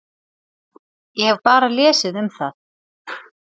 Ég hef bara lesið um það.